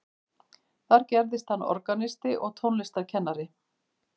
þar gerðist hann organisti og tónlistarkennari